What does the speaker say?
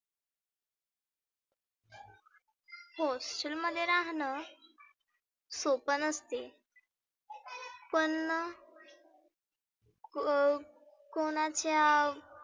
hostel मध्येना राहणं सोप नसतं. पण अं कोणाच्या